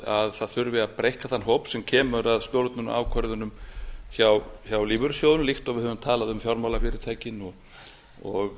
að það þurfi að breikka þann hóp sem kemur að stjórnun og ákvörðunum hjá lífeyrissjóðunum líkt og við höfum talað um fjármálafyrirtækin og